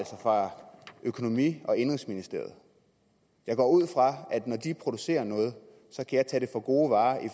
fra økonomi og indenrigsministeriet jeg går ud fra at når de producerer noget så kan jeg tage det for gode varer